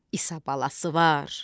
İsa balası var.